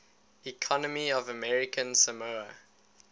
economy of american samoa